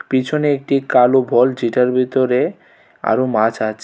পিছনে একটি কালো বল যেটার ভিতরে আরও মাছ আছে.